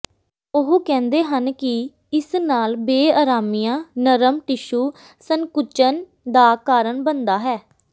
ਉਹ ਕਹਿੰਦੇ ਹਨ ਕਿ ਇਸ ਨਾਲ ਬੇਆਰਾਮੀਆਂ ਨਰਮ ਟਿਸ਼ੂ ਸੰਕੁਚਨ ਦਾ ਕਾਰਨ ਬਣਦਾ ਹੈ